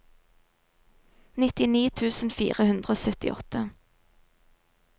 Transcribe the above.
nittini tusen fire hundre og syttiåtte